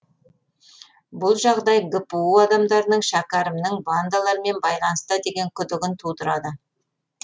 бұл жағдай гпу адамдарының шәкерімнің бандалармен байланыста деген күдігін тудырады